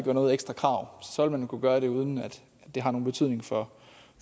noget ekstra krav så vil man kunne gøre det uden at det har nogen betydning for